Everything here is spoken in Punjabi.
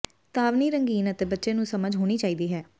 ੇਤਾਵਨੀ ਰੰਗੀਨ ਅਤੇ ਬੱਚੇ ਨੂੰ ਸਮਝ ਹੋਣੀ ਚਾਹੀਦੀ ਹੈ